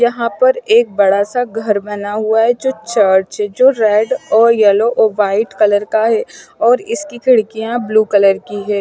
यहाँ पर एक बड़ा सा घर बना हुआ है जो चर्च है जो रेड और यलो और व्हाईट कलर का है और इसकी खिड़कियाँ ब्लू कलर की हैं।